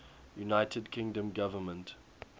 united kingdom government